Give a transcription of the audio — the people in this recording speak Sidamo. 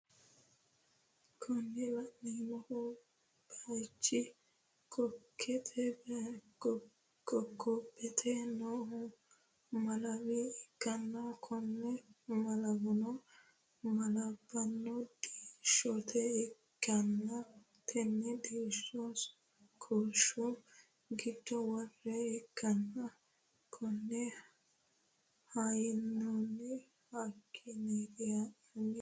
Kuni laneemmohu bicu kokkobete noohu Malawi ikkanna konne malawono malanbbanihuno diishote ikkanna tenne diishono koshu giddo woree ikkanna konne hanoyiihuno hakiiniiti